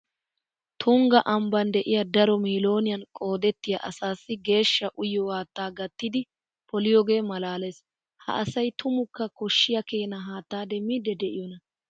Tungga ambban de'iya daro miilooniyan qoodettiya asaassi geeshsha uyiyo haattaa gattidi poliyogee maalaalees. Ha asay tumukka koshshiya keena haatta demmiiddi de'iyonaa?